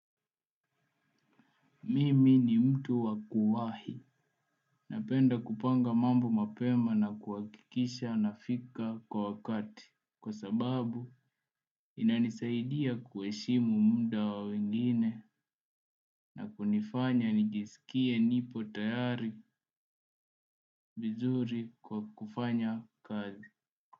Mimi ni mtu wa kuwahi napenda kupanga mambo mapema na kuhakikisha nafika kwa wakati. Kwa sababu inanisaidia kuheshimu muda wa wengine na kunifanya nijisikie nipo tayari vizuri kwa kufanya kazi.